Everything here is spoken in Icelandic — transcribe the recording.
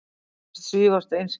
Þú virðist svífast einskis.